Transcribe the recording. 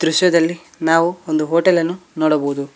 ದೃಶ್ಯದಲ್ಲಿ ನಾವು ಒಂದು ಹೋಟೆಲನ್ನು ನೋಡಬಹುದು.